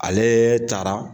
Aleee taara.